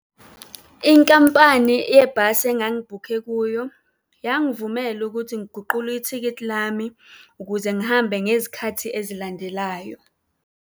Inkampani yebhasi engangibhukhe kuyo yangivumela ukuthi ngiguqule ithikithi lami ukuze ngihambe ngezikhathi ezilandelayo.